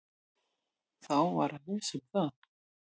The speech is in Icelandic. Þá var að lesa um það.